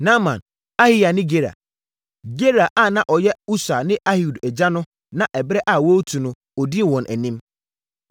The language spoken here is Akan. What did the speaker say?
Naaman, Ahiya ne Gera. Gera a na ɔyɛ Usa ne Ahihud agya no na ɛberɛ a wɔretu no, ɔdii wɔn anim.